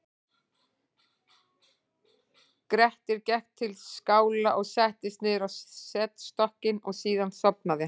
grettir gekk til skála og settist niður á setstokkinn og síðan sofnaði hann